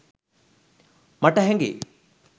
මට හැඟේ.